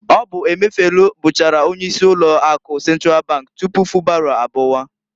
Ọ bu Emefielu bụchara onye isi ụlọ akụ Sentral bank tupu Fubara abụwa.